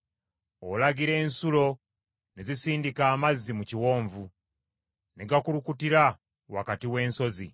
Alagira ensulo ne zisindika amazzi mu biwonvu; ne gakulukutira wakati w’ensozi.